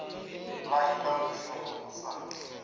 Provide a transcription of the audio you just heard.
vha ita mushumo u sa